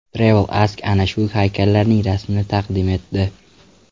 Travel Ask ana shu haykallarning rasmini taqdim etdi.